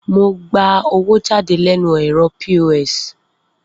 Mo gba owó jáde lẹ́nu ẹ̀rọ POS